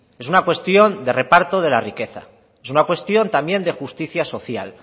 es una cuestión de reparto de la riqueza es una cuestión también de justicia social